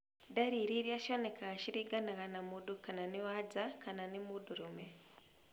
Ndariri iria cionekanga ciringanaga na mũndũ kana nĩ wanja kama mũndũrũme